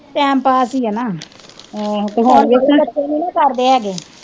Time pass ਈਆ ਨਾ ਹੁਣ ਵਾਲੇ ਬੱਚੇ ਨਹੀਂ ਨਾ ਕਰਦੇ ਹੈਗੇ।